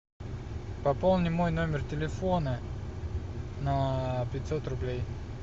пополни мой номер телефона на пятьсот рублей